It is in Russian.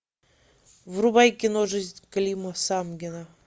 врубай кино жизнь клима самгина